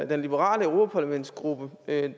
den liberale europaparlamentsgruppe